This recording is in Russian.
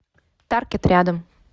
таркет рядом